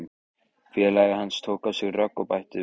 Félagi hans tók á sig rögg og bætti við